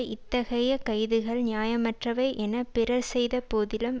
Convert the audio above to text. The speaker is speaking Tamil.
இத்தகைய கைதுகள் நியாயமற்றவை என பிறர் செய்த போதிலும்